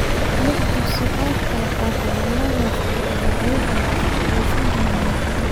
Lix dugsi oo kale oo gobolkaas ah ayaa iyaguna ka faa'iidaysan doona mashruuca.